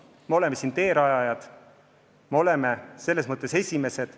Me oleme siin teerajajad, oleme selles mõttes esimesed.